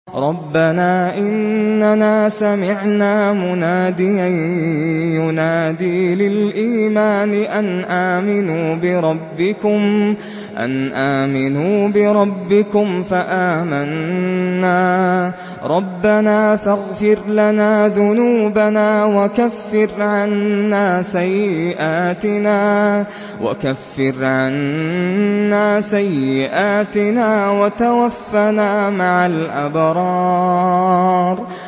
رَّبَّنَا إِنَّنَا سَمِعْنَا مُنَادِيًا يُنَادِي لِلْإِيمَانِ أَنْ آمِنُوا بِرَبِّكُمْ فَآمَنَّا ۚ رَبَّنَا فَاغْفِرْ لَنَا ذُنُوبَنَا وَكَفِّرْ عَنَّا سَيِّئَاتِنَا وَتَوَفَّنَا مَعَ الْأَبْرَارِ